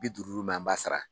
Bi duuru duuru min an b'a sara